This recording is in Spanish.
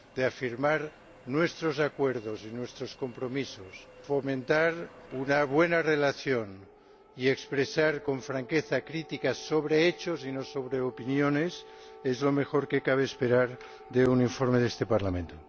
afirmar nuestros acuerdos y nuestros compromisos, fomentar una buena relación y expresar con franqueza críticas sobre hechos y no sobre opiniones es lo mejor que cabe esperar de un informe de este Parlamento.